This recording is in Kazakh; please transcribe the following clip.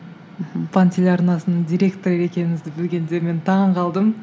мхм телеарнасының директоры екеніңізді білгенде мен таңғалдым